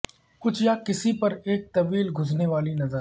کچھ یا کسی پر ایک طویل گھسنے والی نظر